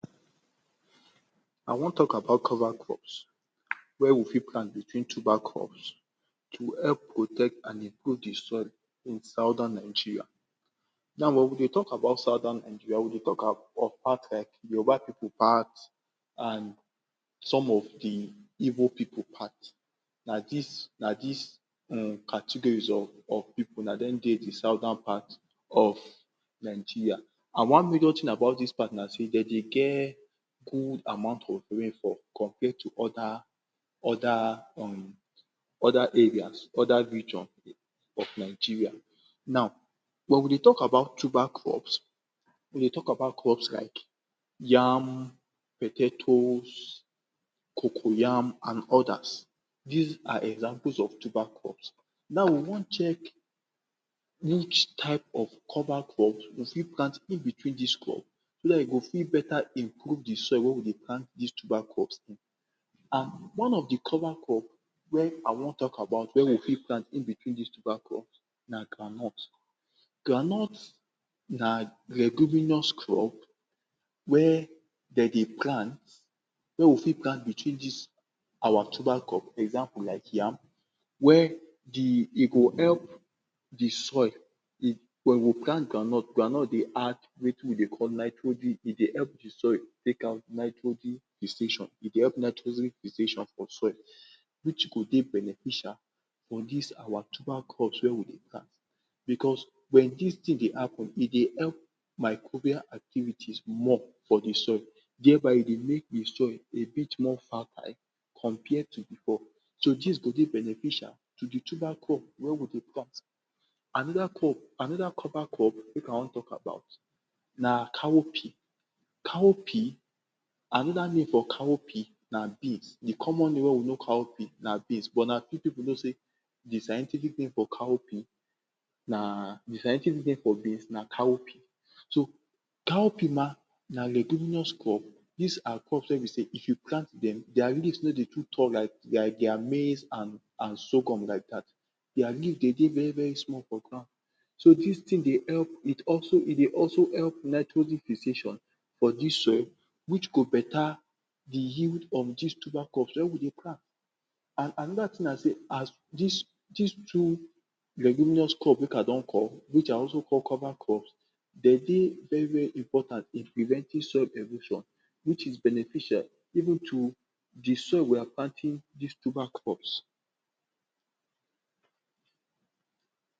I want talk about cover crops where we fit plant between tuber crops to help protect and improve de soil in southern Nigeria. Now, when we dey talk about southern Nigeria, we dey talk about part like Yoruba people part and some of de Igbo pipu part na dis, na dis category um of of pipu na dem dey de southern part of Nigeria. And one major thing about dis part na sey dem dey get good amount of rainfall compared to oda,[um] oda areas, oda region of Nigeria. Now, when we dey talk about tuber crops, we dey talk about crops like yam, potatoes, coco yam, and odas. Dis are examples of tuber crops. Now, we want check which type of cover crops we fit plant in between dis crops, so dat e go fit beta improve de soil where we dey plant dis tuber crops. And one of de cover crops wey I want talk about, wey we fit plant in between dis tuber crops, na groundnut. Groundnut na leguminous crops, where dem dey plant wey we fit plant between dis our tuber crops, example like yam. Where de dey go help de soil wen we plant groundnut, groundnut dey add wetin we dey call nitrogen, e dey help de soil take out nitrogen fixation, e dey help nitrogen fixation for soil, which go dey beneficial for dis our tuber crops where we dey plant. Because wen dis thing dey happen, dey help microbial activities more for de soil, thereby e dey make de soil a bit more fertile compared to before. So, dis go dey beneficial to de tuber crops wey we dey plant. Anoda crop, anoda cover crop wey I want talk about na cowpea. Cowpea, anoda name for cowpea na bean de common name wey we know cowpea na bean, but na few people know sey de scientific name for cowpea na de scientific name for beans na cowpea. So, Cowpea na leguminous crops, dese are crops wey be sey if you plant dem, der leaves no dey too tall like like der maize and and sorghum like dat. Der leaves dey very very small for ground. So, dis thing dey help, it also e dey also help nitrogen fixation for dis soil, which go better de yield of dis tuber crops where we dey plant. And anoda thing, na sey as dis dis two leguminous crops wey I don call, which I also call cover crops, dem dey very very important in preventing soil erosion, which is beneficial even to de soil we are planting dis tuber crops."